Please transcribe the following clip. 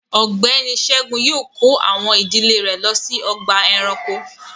Ọgbẹni Ṣẹ̀gún yóò kọ̀ awọn ìdílẹ̀ rè ló sí ọ̀gbà ẹ̀ránkò